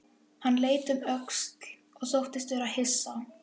Hann leit um öxl og þóttist vera hissa.